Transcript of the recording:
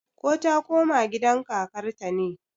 ko ta koma gidan kakarta ne?